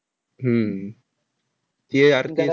हम्म ये अर ते